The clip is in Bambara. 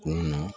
Kunun na